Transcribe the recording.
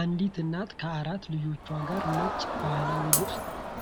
አንዲት እናት ከአራት ልጆቿ ጋር ነጭ ባህላዊ ልብስ